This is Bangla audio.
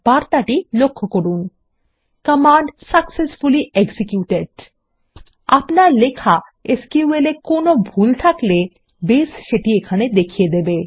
বার্তাটি লক্ষ্য করুন কমান্ড সাকসেসফুলি এক্সিকিউটেড আপনার লেখা এসকিউএল এ কোনো ভুল থাকলে বেস সেটি এখানে দেখিয়ে দেবে